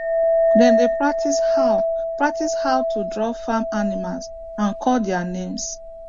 dem dey practise how practise how to draw farm animals and call their names